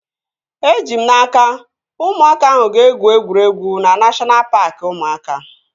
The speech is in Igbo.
Eji m n'aka, ụmụaka ahụ ga-egwu egwuregwu na neshọna paaki ụmụaka